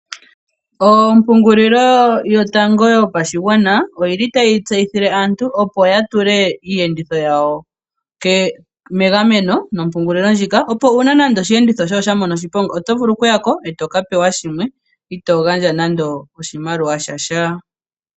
Ompungulilo yotango yopashigwana oyi li tayi tseyithile aantu opo yatule iiyenditho yawo megameno, opo uuna nande oshiyenditho osha mono okuya ko etoka pewa shimwe, itoo gandja nando oshimaliwa shasha.